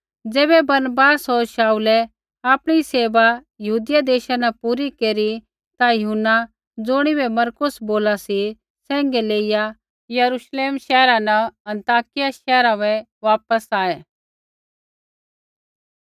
ज़ैबै बरनबास होर शाऊलै आपणी सेवा यहूदिया देशा न पूरी केरी ता यूहन्ना ज़ुणिबै मरकुस बोला सी सैंघै लेइआ यरूश्लेम शैहरा न अन्ताकिया शैहरा बै वापस आऐ